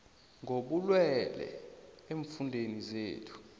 kobulwele eemfundeni zethu